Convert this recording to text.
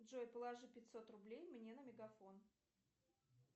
джой положи пятьсот рублей мне на мегафон